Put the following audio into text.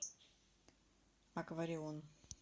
акварион